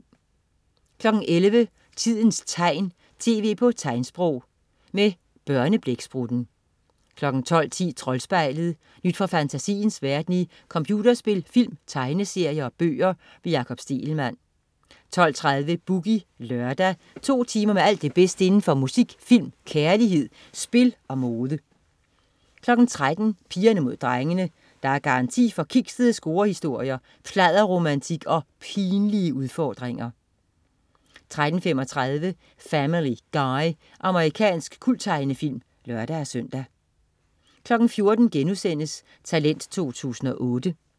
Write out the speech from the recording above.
11.00 Tidens tegn, tv på tegnsprog. Med Børneblæksprutten 12.10 Troldspejlet. Nyt fra fantasiens verden i computerspil, film, tegneserier og bøger. Jakob Stegelmann 12.30 Boogie Lørdag. To timer med alt det bedste inden for musik, film, kærlighed, spil og mode 13.00 Pigerne Mod Drengene. Der er garanti for kiksede scorehistorier, pladderromantik og pinlige udfordringer 13.35 Family Guy. Amerikansk kulttegnefilm (lør-søn) 14.00 Talent 2008*